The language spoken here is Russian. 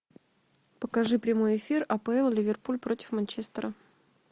покажи прямой эфир апл ливерпуль против манчестера